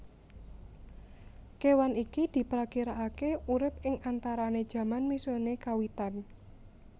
Kewan iki diprakirakake urip ing antarane jaman Miocene kawitan